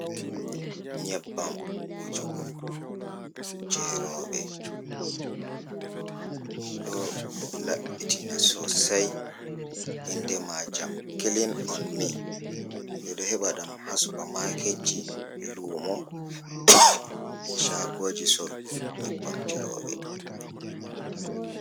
Nyebbam wujugo je roobe, ɗo labbitina sosai inde ma jam kilin on mi, ɓe ɗo heba ɗam ha supa maketji, lumo, be shagoji sorugo nyebbam je roobe.